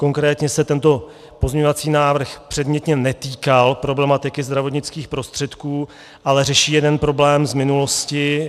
Konkrétně se tento pozměňovací návrh předmětně netýkal problematiky zdravotnických prostředků, ale řeší jeden problém z minulosti.